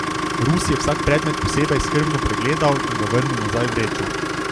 Rus je vsak predmet posebej skrbno pregledal in ga vrnil nazaj v vrečo.